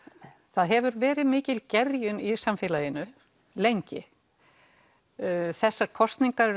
það hefur verið mikil gerjun í samfélaginu lengi þessi kosning er